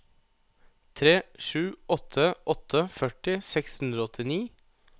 tre sju åtte åtte førti seks hundre og åttini